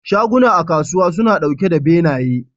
Shaguna a kasuwa suna ɗauke da benaye.